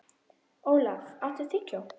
Olaf, áttu tyggjó?